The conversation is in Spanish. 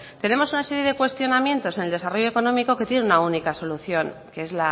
tenemos una serie de cuestionamientos en el desarrollo económico que tienen una única solución que es